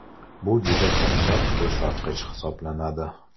Bu juda katta ko‘rsatkich hisoblanadi.